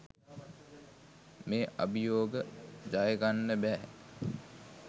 මේ අභියෝග ජයගන්න බැහැ.